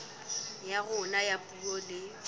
ya rona ya puo le